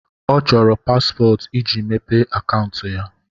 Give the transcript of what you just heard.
Ọ chọrọ paspọtụ iji mepee akaụntụ ya.